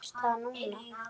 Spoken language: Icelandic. Gerist það núna?